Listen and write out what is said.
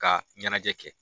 Ka ɲɛnajɛ kɛ.